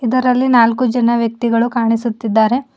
ಇದರಲ್ಲಿ ನಾಲ್ಕು ಜನ ವ್ಯಕ್ತಿಗಳು ಕಾಣಿಸುತ್ತಿದ್ದಾರೆ.